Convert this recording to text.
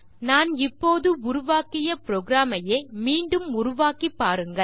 நான் இப்போது உருவாக்கிய புரோகிராம் ஐயே மீண்டும் உருவாக்கி பாருங்கள்